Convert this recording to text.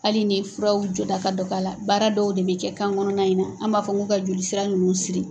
Hali ni furaw jɔda ka dɔgɔ a la baara dɔw de bɛ kɛ kan kɔnɔna in na an m'a fɔ ko ka joli sira ninnu siri.